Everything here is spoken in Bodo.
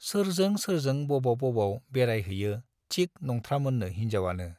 सोरजों सोरजों बबाव बबाव बेराय हैयो थिक नंथ्रामोननो हिन्जावआनो।